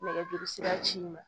Nɛgɛjuru sira ci n ma